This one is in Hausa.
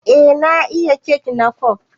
Eh na iya kek na kwaf.